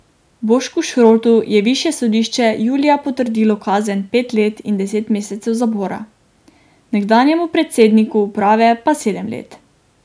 Bošku Šrotu je višje sodišče julija potrdilo kazen pet let in deset mesecev zapora, nekdanjemu predsedniku uprave pa sedem let.